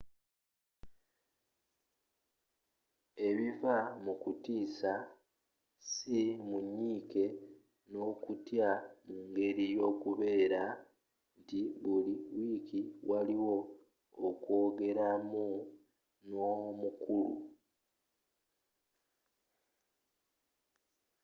ebiva mu kutiisa si mu nyiike n'okutya mu ngeri y'okubeera nti buli wiiki waliwo okwogeramu n'omukulu